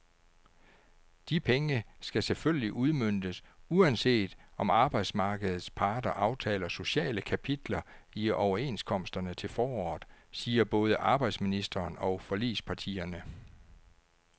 De penge skal selvfølgelig udmøntes, uanset om arbejdsmarkedets parter aftaler sociale kapitler i overenskomsterne til foråret, siger både arbejdsministeren og forligspartierne.